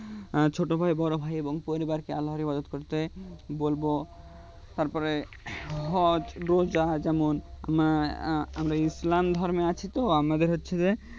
হম ছোট ভাই বড়ো ভাই এবং পরিবারকে আল্লার হিফাদোত করতে বলবো তারপরে হজ রোজা যেমন আমা আমরা ইসলাম ধর্মে আছিতো আমাদের হচ্ছে যে